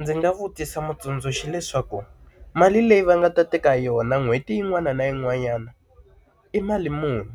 Ndzi nga vutisa mutsundzuxi leswaku mali leyi va nga ta teka yona n'hweti yin'wana na yin'wanyana, i mali muni?